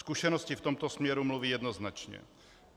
Zkušenosti v tomto směru mluví jednoznačně.